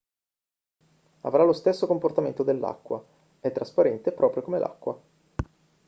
avrà lo stesso comportamento dell'acqua è trasparente proprio come l'acqua